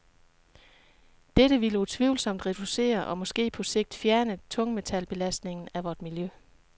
Dette ville utvivlsomt reducere og måske på sigt fjerne tungmetalbelastningen af vort miljø.